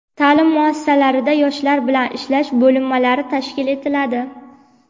taʼlim muassasalarida yoshlar bilan ishlash bo‘linmalari tashkil etiladi.